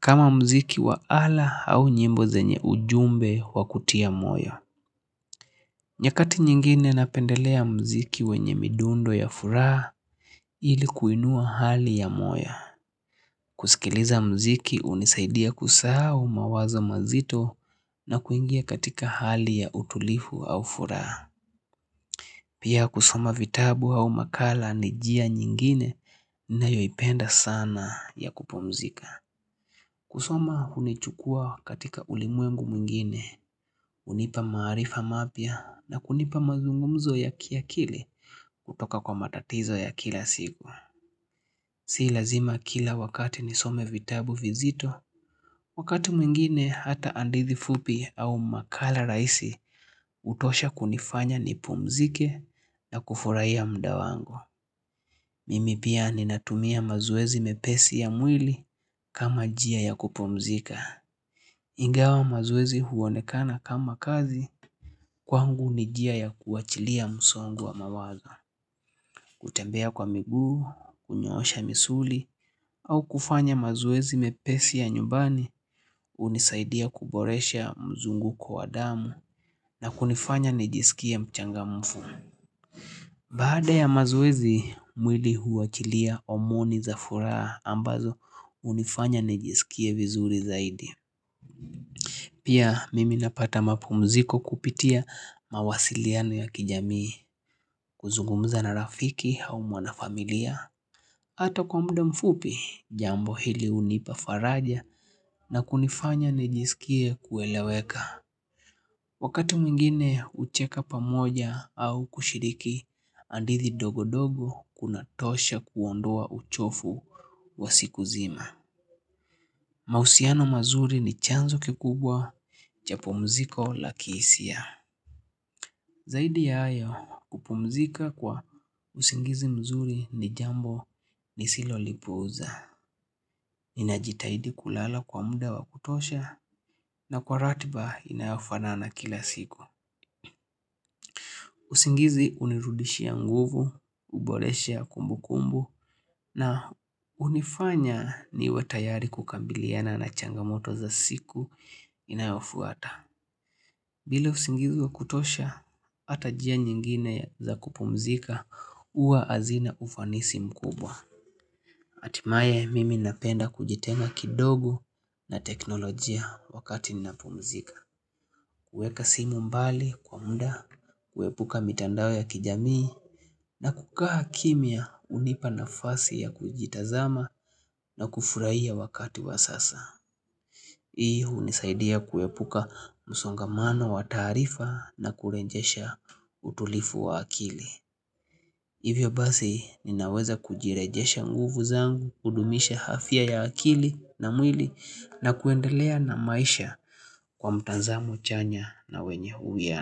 Kama muziki wa ala au nyimbo zenye ujumbe wa kutiya moyo. Nyakati nyingine napendelea muziki wenye midundo ya furaha ili kuinua hali ya moyo. Kusikiliza muziki hunisaidia kusahau mawazo mazito na kuingia katika hali ya utulivu au furaha. Pia kusoma vitabu au makala ni njia nyingine ninayoipenda sana ya kupumzika. Kusoma hunichukua katika ulimwengu mwingine, hunipa maarifa mapya na kunipa mazungumzo ya kiakili kutoka kwa matatizo ya kila siku. Si lazima kila wakati nisome vitabu vizito, wakati mwingine hata hadithi fupi au makala rahisi hutosha kunifanya nipumzike na kufurahiya muda wangu. Mimi pia ninatumia mazoezi mepesi ya mwili kama njia ya kupumzika. Ingawa mazoezi huonekana kama kazi kwangu ni njia ya kuachilia msongo wa mawazo. Kutembea kwa miguu, kunyoosha misuli au kufanya mazoezi mepesi ya nyumbani hunisaidia kuboresha mzunguko wa damu na kunifanya nijisikie mchangamfu. Baada ya mazoezi mwili huwachilia homoni za furaha ambazo hunifanya nijisikie vizuri zaidi. Pia mimi napata mapumziko kupitia mawasiliano ya kijamii, kuzungumza na rafiki au mwanafamilia. Hata kwa muda mfupi, jambo hili hunipa faraja na kunifanya nijisikie kueleweka. Wakati mwingine hucheka pamoja au kushiriki, hadithi ndogodogo kunatosha kuondoa uchovu wa siku zima. Mahusiano mazuri ni chanzo kikubwa cha pumziko la kihisia. Zaidi ya hayo kupumzika kwa usingizi mzuri ni jambo nisilolipuuza. Ninajitahidi kulala kwa muda wa kutosha na kwa ratiba inayofanana kila siku. Usingizi hunirudishia nguvu, uboresha ya kumbukumbu na hunifanya niwe tayari kukabiliana na changamoto za siku inayofuata. Bila usingizi wa kutosha, hata njia nyingine za kupumzika huwa hazina ufanisi mkubwa. Hatimaye mimi napenda kujitenga kidogo na teknolojia wakati ninapumzika. Kuweka simu mbali kwa muda, kuepuka mitandao ya kijamii na kukaa kimya hunipa nafasi ya kujitazama na kufurahia wakati wa sasa. Hii hunisaidia kuepuka musongamano wa taarifa na kurejesha utulivu wa akili Hivyo basi ninaweza kujirejesha nguvu zangu, kudumisha afya ya akili na mwili na kuendelea na maisha kwa mtazamo chanya na wenye uwiano.